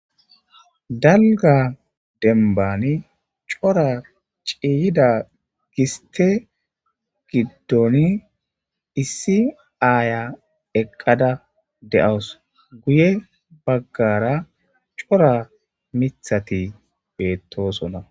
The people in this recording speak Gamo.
dalga denbani cora ciyida giste gidon issi aaya eqada de'eawus guye bagara cora mithati betosona